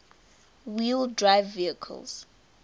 wheel drive vehicles